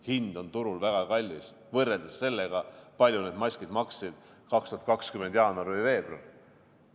Hind on turul väga kallis võrreldes sellega, palju need maskid maksid 2020 jaanuar või veebruar.